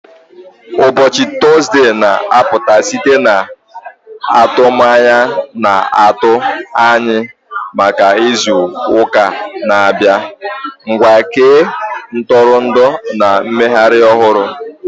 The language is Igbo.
Ụbọchị Tọzdee na-apụta site n'atụmanya na-atụ anya maka izu ụka na-abịa, nkwa nke ntụrụndụ na mmeghari ohuru